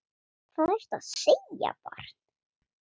Hvað ertu að segja, barn?